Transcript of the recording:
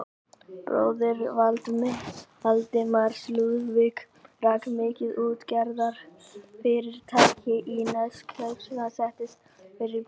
Bróðir Valdimars, Lúðvík, rak mikið útgerðarfyrirtæki í Neskaupsstað og setti sterkan svip á bæjarlífið þar.